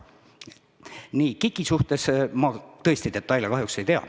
KIK-i suhtes ma tõesti detaile kahjuks ei tea.